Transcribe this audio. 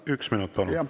Üks minut, palun!